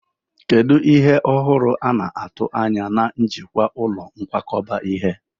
Kedu ihe ọhụrụ a na-atụ anya na njikwa ụlọ nkwakọba ihe?